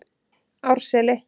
Árseli